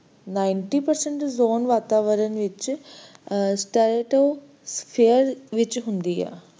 ninety per cent ozone ਵਾਤਾਵਰਨ ਵਿਚ stretosphere ਵਿਚ ਹੁੰਦੀ ਆ